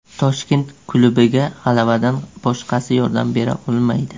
Toshkent klubiga g‘alabadan boshqasi yordam bera olmaydi.